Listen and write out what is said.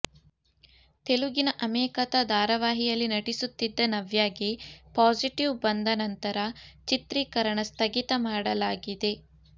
ತೆಲುಗಿನ ಅಮೆ ಕಥಾ ಧಾರಾವಾಹಿಯಲ್ಲಿ ನಟಿಸುತ್ತಿದ್ದ ನವ್ಯಾಗೆ ಪಾಸಿಟಿವ್ ಬಂದ ನಂತರ ಚಿತ್ರೀಕರಣ ಸ್ಥಗಿತ ಮಾಡಲಾಗಿದೆ